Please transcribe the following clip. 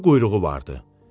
İki quyruğu vardı.